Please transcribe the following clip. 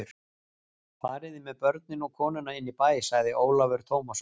Fariði með börnin og konuna inn í bæ, sagði Ólafur Tómasson.